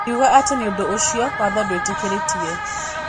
Akuga ati nĩũndũ ũcio watho ndwitĩkĩrĩtie.